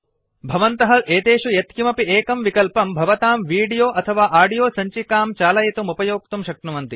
भवन्तः एतेषु यत्किमपि एकं विकल्पं भवतां वीडियो अथवा आडियो सञ्चिकां चालयितुम् उपयोक्तुं शक्नुवन्ति